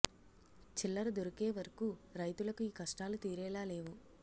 చిల్లర దొరికే వరకు రైతులకు ఈ కష్టాలు తీరేలా లేవు